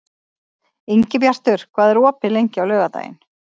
Ingibjartur, hvað er opið lengi á laugardaginn?